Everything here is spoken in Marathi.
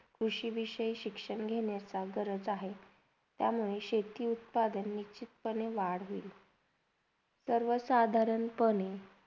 कृषी विष्यहि शिक्षण घेण्याचा गरज आहे त्याच्यामुळे शेती उत्पादनचे निचीतपानी वापर होईल सर्वसाधारण पणे.